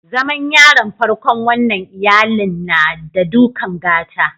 Zaman yaron farkon wannan iyallin, n'na da dukan gata.